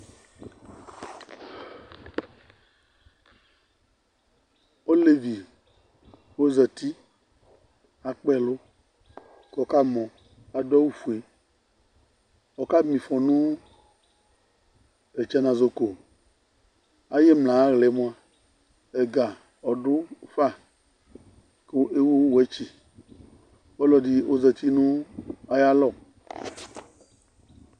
Olevi ozǝti, akpa ɛlʋ kʋ ɔkamɔ Adu awufue, Ɔkama ɩfɔ nʋ ɛtsanazɔko Ayʋ imla ayʋ aɣla yɛ mua ɛga ɔdʋ fa, kʋ ewu wɛtsɩ Ɔlɔdɩ ozǝti nʋ ayʋ alɔ